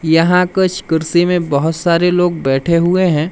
यहां कुछ कुर्सी में बहोत सारे लोग बैठे हुए हैं।